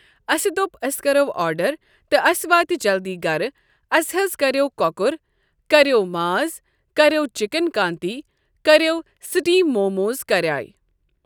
اسہِ دوٚپ أسۍ کرو آرڈر تہٕ اسہِ واتہِ جلدی گرٕ اسہِ حظ کریاو کۄکُر کریاو ماز کریاو چکن کانتی کریاو سٹیٖم موموز کریایہِ۔